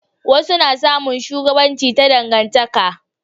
wasu na samun shugabanci ta dangantaka